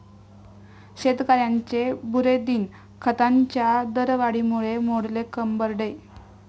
शेतकऱ्यांचे 'बुरे दिन'! खतांच्या दरवाढीमुळे मोडले कंबरडे